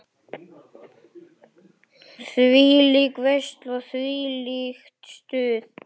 Þvílík veisla, þvílíkt stuð.